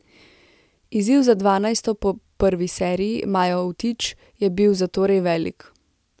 Izziv za dvanajsto po prvi seriji, Majo Vtič, je bi zatorej velik.